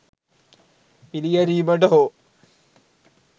පිළිගැනීමට හෝ